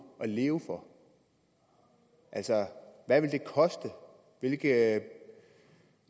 at leve for altså hvad vil det koste hvilke